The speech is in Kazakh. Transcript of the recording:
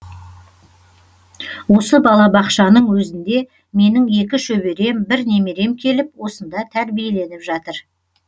осы балабақшаның өзінде менің екі шөберем бір немерем келіп осында тәрбиеленіп жатыр